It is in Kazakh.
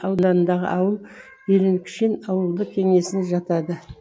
ауданындағы ауыл ирныкшин ауылдық кеңесіне жатады